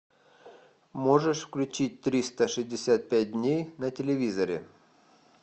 можешь включить триста шестьдесят пять дней на телевизоре